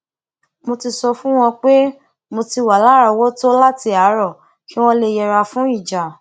mo ti sọ fún wọn pé mo ti wà láròówótó láti àárọ kí wón lè yẹra fún ìjà